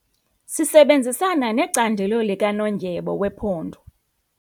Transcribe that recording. Sisebenzisana necandelo likanondyebo wephondo.